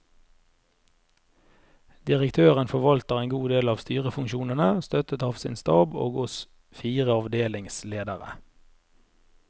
Direktøren forvalter en god del av styrefunksjonene, støttet av sin stab og oss fire avdelingsledere.